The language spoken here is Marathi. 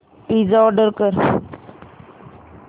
पिझ्झा ऑर्डर कर